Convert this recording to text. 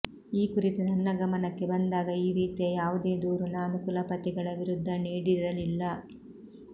ಈ ಕುರಿತು ನನ್ನ ಗಮನಕ್ಕೆ ಬಂದಾಗ ಈ ರೀತಿಯ ಯಾವುದೇ ದೂರು ನಾನು ಕುಲಪತಿಗಳ ವಿರುದ್ಧ ನೀಡಿರಲಿಲ್ಲ